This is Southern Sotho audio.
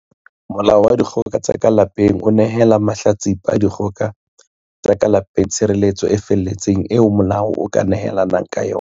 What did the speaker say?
Molao wa Dikgoka tsa ka Lapeng o nehela mahla tsipa a dikgoka tsa ka lape ng tshireletso e feletseng eo molao o ka nehelang ka yona.